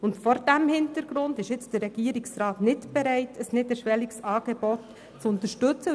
Vor diesem Hintergrund ist jetzt der Regierungsrat nicht bereit, ein niederschwelliges Angebot zu unterstützen.